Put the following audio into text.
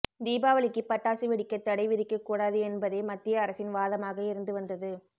தீபாவளிக்கு பட்டாசு வெடிக்க தடை விதிக்க கூடாது என்பதே மத்திய அரசின் வாதமாக இருந்து வந்தது